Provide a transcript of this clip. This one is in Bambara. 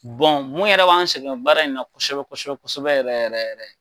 mun yɛrɛ b'an sɛgɛn baara in na kosɛbɛ kosɛbɛ kosɛbɛ yɛrɛ yɛrɛ